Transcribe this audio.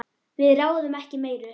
Við ráðum ekki meiru.